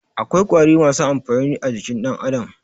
Akwai ƙwari masu amfani a jikin dan Adam.